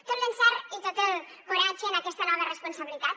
tot l’encert i tot el coratge en aquesta nova responsabilitat